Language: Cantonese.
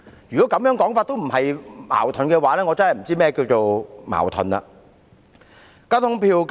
如果這亦不算是自相矛盾的話，我真的不知道何謂"矛盾"了。